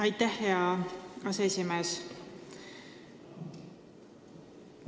Aitäh, hea aseesimees!